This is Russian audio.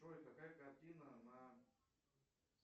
джой какая картина на